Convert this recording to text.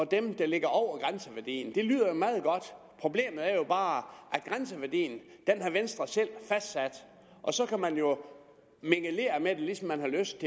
dem der ligger over grænseværdien det lyder meget godt problemet er jo bare at grænseværdien har venstre selv fastsat og så kan man jo mingelere med det ligesom man har lyst